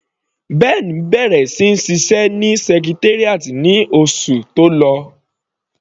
Ben bẹ̀rẹ̀ sí ní ṣiṣẹ́ ní Secretariat ní oṣù tó lọ.